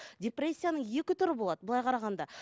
депрессияның екі түрі болады былай қарағанда